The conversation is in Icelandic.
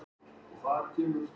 Því verki lauk eftirmaður hans